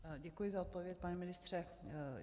Děkuji za odpověď, pane ministře.